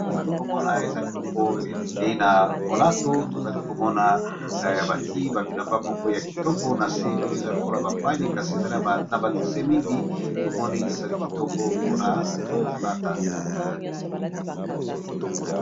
Tozali komona ezali biloko ekei na molato, tozali komona bati ba bilamba moko ya kitoko na se oyo eza lokola ba pagne kasi ezali na ba dessin mingi tomoni ezali kitoko mpona ko lata.